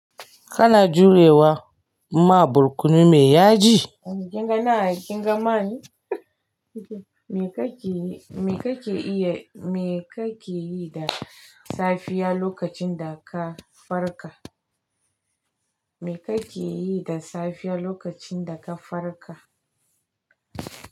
Kana jurewa ma barkono mai yaji? Kinga nan ai kinga man. Me kake, me kake iya, me kake yi da safiya lokacin da ka farka? Me kake yi da safiya lokacin da ka farka?